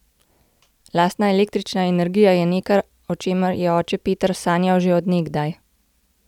Lastna električna energija je nekaj, o čemer je oče Peter sanjal že od nekdaj!